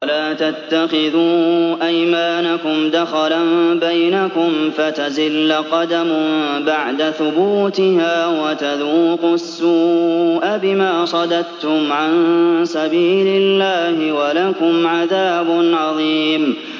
وَلَا تَتَّخِذُوا أَيْمَانَكُمْ دَخَلًا بَيْنَكُمْ فَتَزِلَّ قَدَمٌ بَعْدَ ثُبُوتِهَا وَتَذُوقُوا السُّوءَ بِمَا صَدَدتُّمْ عَن سَبِيلِ اللَّهِ ۖ وَلَكُمْ عَذَابٌ عَظِيمٌ